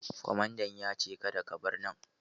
Kwamadan ya ce " Kada ka bar nan"!